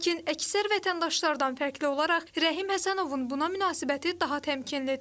Lakin əksər vətəndaşlardan fərqli olaraq, Rəhim Həsənovun buna münasibəti daha təmkinlidir.